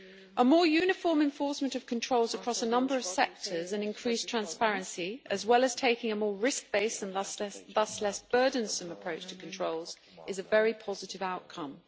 A more uniform enforcement of controls across a number of sectors and increased transparency, as well as taking a more risk based and thus less burdensome approach to controls, is a very positive outcome.